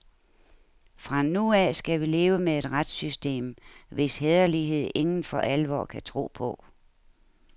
Fra nu af skal vi leve med et retssystem, hvis hæderlighed ingen for alvor kan tro på.